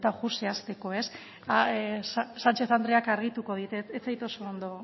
zehazteko ez sánchez andreak argituko dit ez zait oso argi